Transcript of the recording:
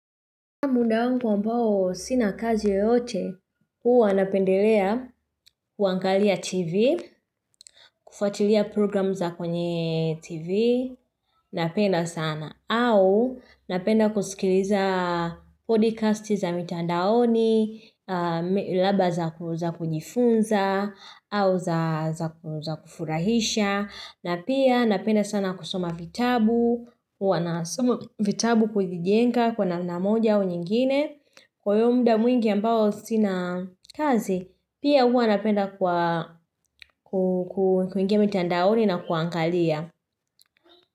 Muda wangu ambao sinakazi yeyote, huwa napendelea, kuangalia tv, kufatilia program za kwenye tv, napenda sana, au napenda kusikiliza podcast za mitandaoni, labda za kujifunza, au za kufurahisha, na pia napenda sana kusoma vitabu, huwa nasoma vitabu kujijenga kwa na moja wa nyingine, kwa yomuda mwingi ambao sinakazi, pia uwa napenda kwa kuingemi tandaoni na kuangalia.